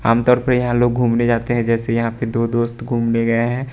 आमतौर पे यहां लोग घूमने जाते हैं जैसे यहां पे दो दोस्त घूमने गए हैं।